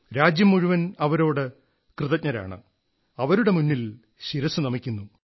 രാജ്യം മുഴുവൻ അവരോട് കൃതജ്ഞരാണ് അവരുടെ മുന്നിൽ ശിരസ്സു നമിക്കുന്നു